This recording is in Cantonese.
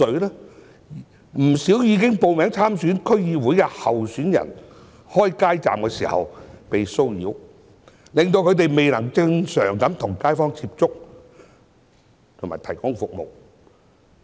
不少已報名參選區議會選舉的候選人開街站時被騷擾，令他們未能正常地與街坊接觸和提供服務。